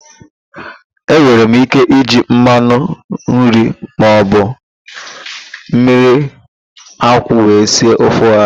E nwere ike iji mmanụ nri maọbụ mmiriakwụ wee sie ofe ọha